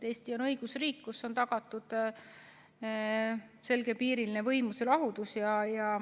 Eesti on õigusriik, kus on tagatud selgepiiriline võimude lahusus.